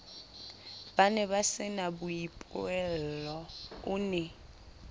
ba nebasena boipuello o ne